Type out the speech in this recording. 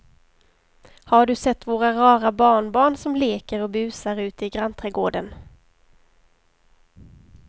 Har du sett våra rara barnbarn som leker och busar ute i grannträdgården!